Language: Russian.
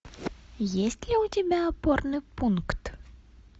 есть ли у тебя опорный пункт